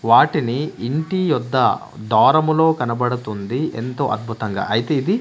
వాటిని ఇంటి యోద్దా దారములో కనబడుతుంది ఎంతో అద్భుతంగా అయితే ఇది--